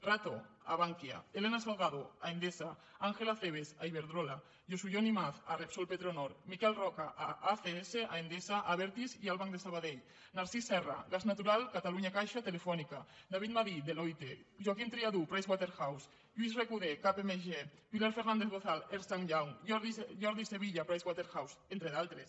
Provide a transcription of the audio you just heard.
rato a bankia elena salgado a endesa ángel acebes a iberdrola josu jon imaz a repsol petronor miquel roca a acs a endesa a abertis i al banc de sabadell narcís serra gas natural catalunya caixa telefónica david madí deloitte joaquim triadú price waterhouse lluís recoder kpmg pilar fernández bozal ernst young jordi sevilla price waterhouse entre d’altres